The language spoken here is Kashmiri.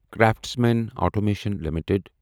craftsman automation limited